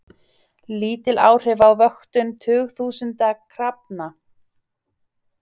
Lítil áhrif á vöktun tugþúsunda krafna